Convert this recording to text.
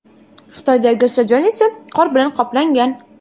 Xitoydagi stadion esa qor bilan qoplangan.